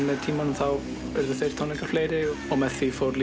með tímanum urðu þeir tónleikar fleiri og með því fór